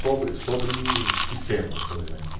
Sobre, sobre que tema, por exemplo?